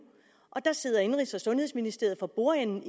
og sidder indenrigs og sundhedsministeriet for bordenden